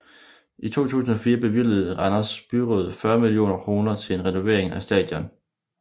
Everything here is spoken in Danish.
I 2004 bevilgede Randers Byråd 40 millioner kroner til en renovering af stadion